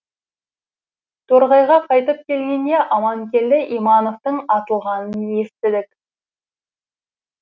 торғайға қайтып келгенде аманкелді имановтың атылғанын естідік